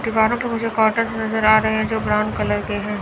दीवारों पर मुझे कार्टेज नजर आ रहे हैं जो ब्राउन कलर के हैं।